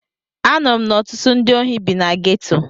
Anụrụ m na ọtụtụ ndị ohi bi na geto.